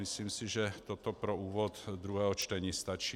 Myslím si, že toto pro úvod druhého čtení stačí.